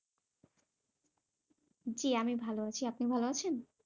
জী আমি ভালো আছি, আপনি ভালো আছেন?